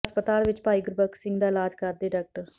ਹਸਪਤਾਲ ਵਿੱਚ ਭਾਈ ਗੁਰਬਖਸ਼ ਸਿੰਘ ਦਾ ਇਲਾਜ਼ ਕਰਦੇ ਡਾਕਟਰ